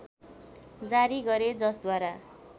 जारी गरे जसद्वारा